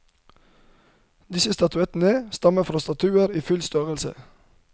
Disse statuettene stammer fra statuer i full størrelse.